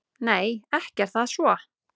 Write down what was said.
Nei, ekki er það svo.